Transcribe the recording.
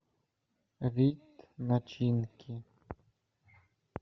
вид начинки